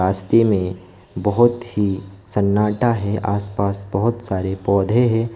रस्ते में बहोत ही सन्नाटा है आसपास बहुत सारे पौधे हैं।